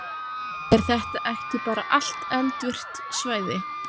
Er þetta ekki bara allt eldvirkt svæði?